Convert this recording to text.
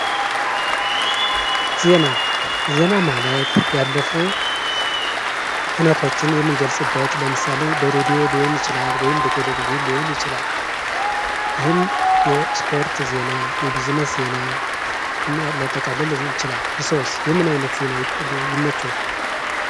ዜና ዜና ማለት ያለፉ ሁነቶችን የምንገልጽበት ለምሳሌ በሬድዮ ሊሆን ይችላል ወይም በቴሌቭዥን ሊሆን ይችላል፤ ይህም የስፖርት ዜና የቢዝነስ ዜና ሊያጠቃልል ይችላል እርሶስ የምን አይነት ዜና ይመቾታል።